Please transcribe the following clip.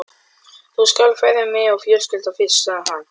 Þú skalt ferja mig og fjölskylduna fyrst, sagði hann.